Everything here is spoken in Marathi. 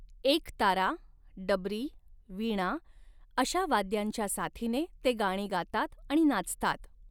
एकतारा, डबरी, वीणा अशा वाद्यांच्या साथीने ते गाणी गातात आणि नाचतात.